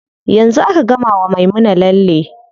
Yanzu aka gama wa Maimuna lalle.